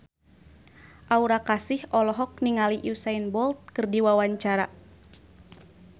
Aura Kasih olohok ningali Usain Bolt keur diwawancara